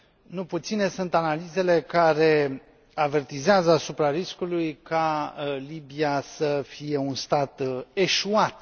Nu puține sunt analizele care avertizează asupra riscului ca Libia să fie un stat eșuat.